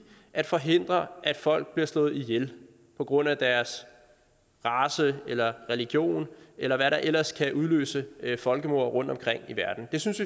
at forhindre at folk bliver slået ihjel på grund af deres race eller religion eller hvad der ellers kan udløse folkemord rundtomkring i verden vi synes